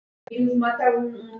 Ég hnipra mig ekki saman.